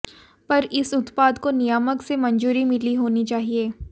पर इस उत्पाद को नियामक से मंजूरी मिली होनी चाहिए